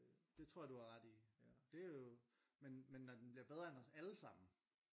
Det tror jeg du har ret i det er jo men men når den bliver bedre end os allesammen